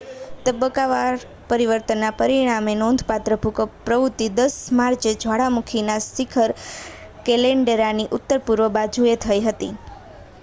તબક્કાવાર પરિવર્તનના પરિણામે નોંધપાત્ર ભૂકંપ પ્રવૃત્તિ 10 માર્ચે જ્વાળામુખીના શિખર કેલ્ડેરાની ઉત્તર-પૂર્વ બાજુએ થઈ હતી